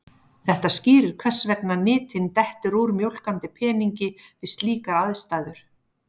Þetta skýrir hvers vegna nytin dettur úr mjólkandi peningi við slíkar aðstæður.